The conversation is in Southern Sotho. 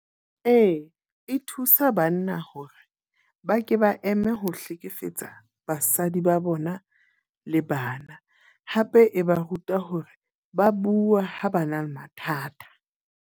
Ee, e thusa banna hore ba ke ba eme ho hlekefetsa basadi ba bona le bana. Hape e ba ruta hore ba bua ha ba na le mathata.